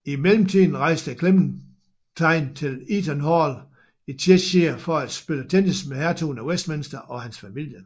I mellemtiden rejste Clementine til Eaton Hall i Cheshire for at spille tennis med hertugen af Westminster og hans familie